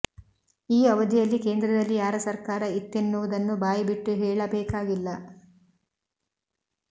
ಈ ಅವಧಿಯಲ್ಲಿ ಕೇಂದ್ರದಲ್ಲಿ ಯಾರ ಸರ್ಕಾರ ಇತ್ತೆನ್ನುವುದನ್ನು ಬಾಯಿ ಬಿಟ್ಟು ಹೇಳಬೇಕಾಗಿಲ್ಲ